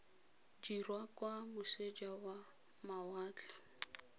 dirwa kwa moseja wa mawatle